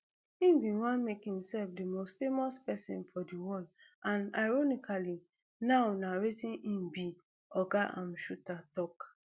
im bin wan make himself di most famous pesin for di world and ironically now na wetin e be oga um shuter tok